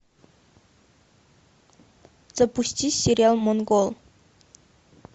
запусти сериал монгол